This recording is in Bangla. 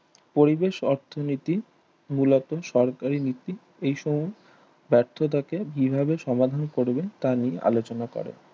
পরিবেশ অর্থনীতি মূলত সরকারি নীতি এইসময় ব্যর্থ থাকে বিভাবে সমাধান করবে তা নিয়ে আলোচনা করে